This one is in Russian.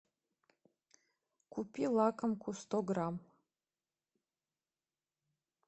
купи лакомку сто грамм